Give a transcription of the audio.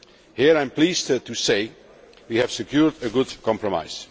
Here I am pleased to say we have secured a good compromise.